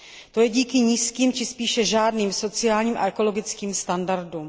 To je díky nízkým či spíše žádným sociálním a ekologickým standardům.